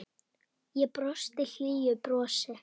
Og brosti hlýju brosi.